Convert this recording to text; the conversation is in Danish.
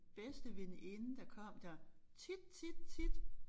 Bedste veninde der kom der tit tit tit